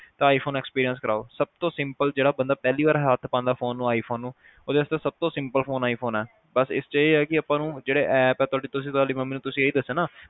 iphone experience ਕਰਵਾਓ ਸਭ ਤੋਂ simple ਜਿਹੜਾ ਬੰਦਾ ਪਿਹਲੀ ਵਾਰ ਹੱਥ ਪਾਉਦਾ ਫ਼ੋਨ ਨੂੰ iphone ਨੂੰ ਉਹਦੇ ਵਾਸਤੇ ਸਭ ਤੋ simple Phone iPhone ਆ ਬਸ ਇਸ ਚ ਇਹ ਆ ਕੇ ਆਪਾ ਨੂੰ ਜਿਹੜੇ app ਆ ਤੁਹਾਡੇ ਤੁਸੀ ਤੁਹਾਡੀ ਮੰਮੀ ਨੂੰ ਇਹ ਦੱਸੋ ਨਾ